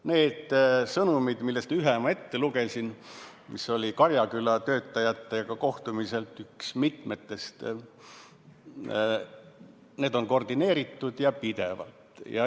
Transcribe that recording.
Need sõnumid, millest ühe ma ette lugesin, mis oli Karjaküla töötajatega kohtumisel üks mitmetest, on koordineeritud ja pidevad.